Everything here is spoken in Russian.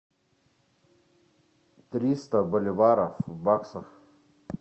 триста боливаров в баксах